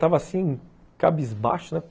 Estava assim, cabisbaixo, né?